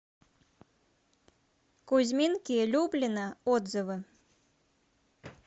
кузьминки люблино отзывы